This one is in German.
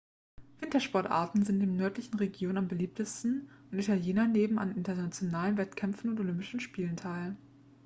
wintersportarten sind in den nördlichen regionen am beliebtesten und italiener nehmen an internationalen wettkämpfen und olympischen spielen teil